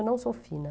Eu não sou fina.